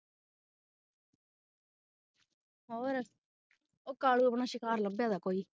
ਹੋਰ ਉਹ ਕਾਲੋਂ ਆਪਣਾ ਸ਼ਿਕਾਰ ਲਭੇਦਾ ਕੋਈ